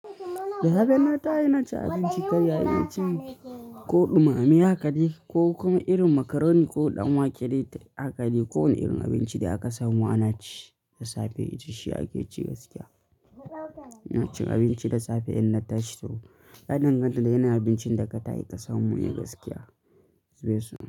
Da safe ina tashi inacin abinci ta yaya ci ko ɗumame hakade ko kuma irin macaroni ko ɗanwake dai hakadai ko wane irin abinci da aka samu ana ci da safe. Shi ake ci gaskiya. Ina cin abinci da safe in na tashi to yadan ganta da yanayin abincin da ka ta shi ka samu ne gaskiya. Zube su.